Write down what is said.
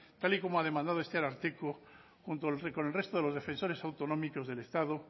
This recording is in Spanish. tal y como ha demandado junto con el resto de los defensores autonómicos del estado